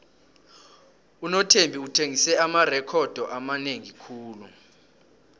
unothembi uthengise amarekhodo amanengi khulu